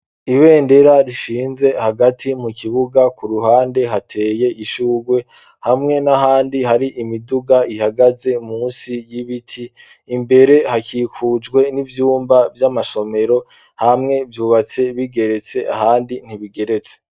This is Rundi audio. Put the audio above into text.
Ibendera rishinze hagati mu kibuga ku ruhande hateye ishurwe hamwe n'ahandi hari imiduga ihagaze munsi y'ibiti ,imbere hakikujwe n'ivyumba vy'amasomero hamwe vyubatse bigeretse ahandi ntibigeretse.